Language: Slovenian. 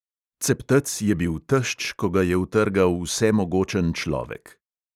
Ceptec je bil tešč, ko ga je utrgal vsemogočen človek.